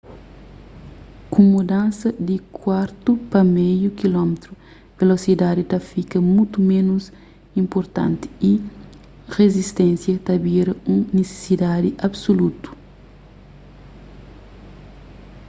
ku mudansa di kuartu pa meiu kilómetru velosidadi ta fika mutu ménus inpurtanti y rizisténsia ta bira un nisisidadi absulutu